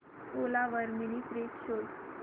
ओला वर mini fridge शोध